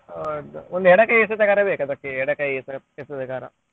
Okay ಒಂದು ಎಡ ಕೈ ಎಸೆತಗಾರ ಬೇಕು ಅದಕ್ಕೆ ಎಡ ಕೈ ಎಸೆ~ ಎಸೆತಗಾರ .